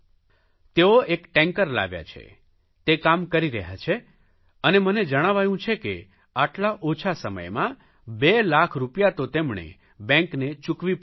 તેઓ એક ટેંકર લાવ્યા છે તે કામ કરી રહ્યા છે અને મને જણાવાયું છે કે આટલા ઓછા સમયમાં બે લાખ રૂપિયા તો તેમણે બેંકને ચૂકવી પણ દીધા